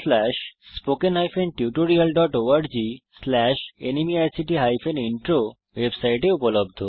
আমি কৌশিক দত্ত এই টিউটোরিয়াল টি অনুবাদ করেছি